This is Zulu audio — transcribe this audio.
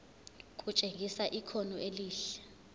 kutshengisa ikhono elihle